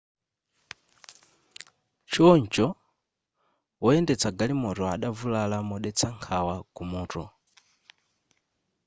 choncho woyendetsa galimoto adavulala modetsa nkhawa ku mutu